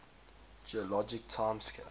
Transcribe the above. geologic time scale